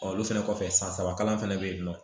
olu fɛnɛ kɔfɛ san saba kalan fana bɛ yen nɔ